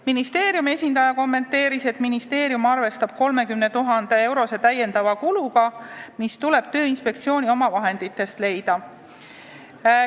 Ministeeriumi esindaja kommenteeris, et ministeerium arvestab 30 000-eurose täiendava kuluga, mis tuleb Tööinspektsiooni omavahenditest leida.